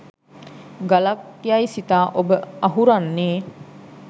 ගලක් යයි සිතා ඔබ අහුරන්නේ